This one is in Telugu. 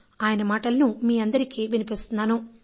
ఆయన మాటలను నేను మీ అందరికీ వినిపిస్తున్నాను